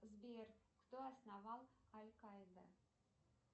сбер кто основал аль каида